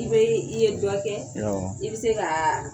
I bɛ i ye dɔ kɛ awɔ i bɛ se ka